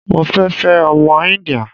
Mo fẹ́ fẹ́ ọmọ Íńdíà.